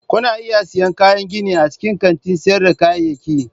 Kuna iya siyan kayan gini a cikin kantin sayar da kayayyaki.